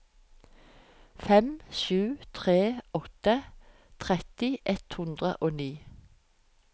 fem sju tre åtte tretti ett hundre og ni